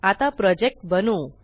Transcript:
आता प्रोजेक्ट बनवू